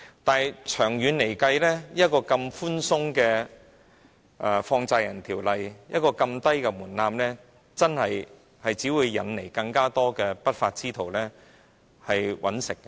但是，長遠來說，這麼寬鬆的《放債人條例》，一個這麼低的門檻，只會引來更多不法之徒謀取利潤。